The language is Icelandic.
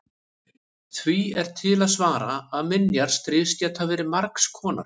því er til að svara að minjar stríðs geta verið margs konar